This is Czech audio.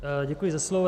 Děkuji za slovo.